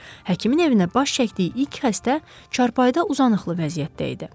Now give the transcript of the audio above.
Həkimin evinə baş çəkdiyi ilk xəstə çarpayıda uzanıqlı vəziyyətdə idi.